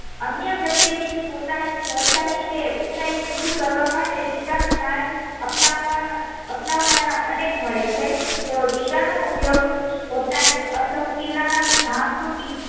અન્ય વ્યક્તિ ની પોતાની સરખઈ કે ઉંચાઈ સિદ્ધ કરવા માટે ટીકા નો માર્ગ અપનાવવા અપનાવનારા અનેક મળે છે તો ટીકા નો ઉપયોગ પોતાની અશક્તિ ના ધાક રૂપી